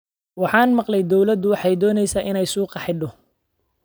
Waxaan maqlay dawladu waxay doonaysaa inay suuqa xidho